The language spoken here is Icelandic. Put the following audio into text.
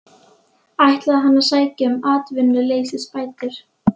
Ætlaði hann að sækja um atvinnuleysisbætur?